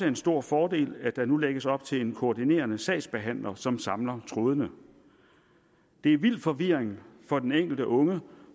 en stor fordel at der nu lægges op til en koordinerende sagsbehandler som samler trådene det er vild forvirring for den enkelte unge